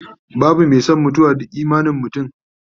babu Mai San mutuwa, duk imanin mutum